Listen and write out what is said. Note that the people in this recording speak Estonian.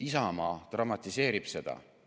Isamaa dramatiseerib seda.